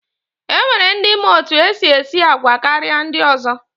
E nwere ndi ma etu e si esi àgwà karịa ndị ọzọ.